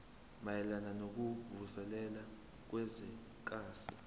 mayelana nokuvuselela kwezwekazi